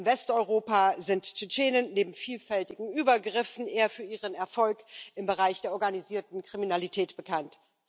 In Westeuropa sind Tschetschenen neben vielfältigen Übergriffen eher für ihren Erfolg im Bereich der organisierten Kriminalität bekannt.